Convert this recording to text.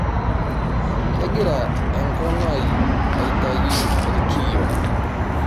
Kegira enkong'u ai aitayu irkiyo.